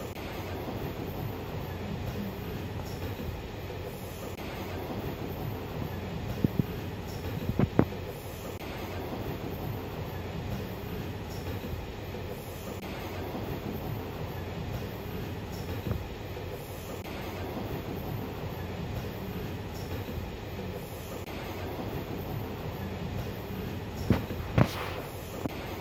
kuni kameli mitte beetto mittu beetti adhanno yannara goshatote barra booharishaho horonsi'nanni kamelati. aanasi biifannore worre gangalatu dargubba millinsani honsanni.